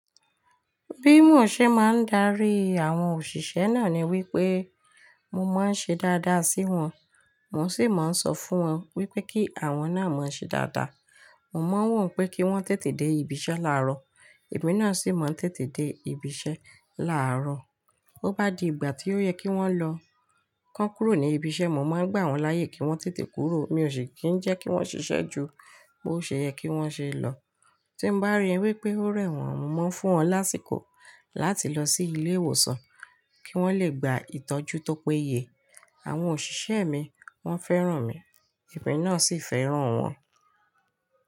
Bí mo ṣe máa ń darí àwọn òṣìṣẹ́ náà ni wípé mo máa ń ṣe dáadáa sí wọn, mo sì máa ń sọ fún wọn wípé kí àwọn náà má ṣe dáadáa. Mo mọ̀ wọ́n pé kí wọ́n tètè dé ibi iṣẹ́ láàárọ̀, èmi náà sì máa ń tètè dé ibi iṣẹ́ láàárọ̀. Ó bá di ìgbà tí ó yẹ kí wọ́n lọ kàn kúrò ní ibi iṣẹ́, mo máa ń gbà wọ́n láyè kí wọ́n tètè kúrò. Mi ò ṣe kí ń jẹ́ kí wọ́n ṣiṣẹ́ ju bó ṣe yẹ kí wọ́n ṣe lọ. Tí bá rí wípé ó rẹ̀ wọ́n, mo ń fún wọn lásìkò láti lọ sí ilé ìwòsàn kí wọ́n lè gba ìtọ́jú tó péye. Àwọn òṣìṣẹ́ mi wọ́n fẹ́ràn mi, èmi náà sì fẹ́ràn wọn.